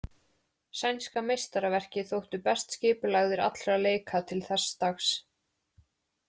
Sænska meistaraverkið þóttu best skipulagðir allra leika til þess dags.